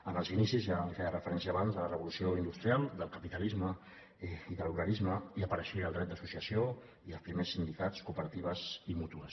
en els inicis ja en feia referència abans de la revolució industrial del capitalisme i de l’obrerisme hi apareixia el dret d’associació i els primers sindicats cooperatives i mútues